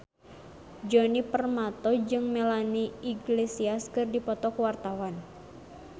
Djoni Permato jeung Melanie Iglesias keur dipoto ku wartawan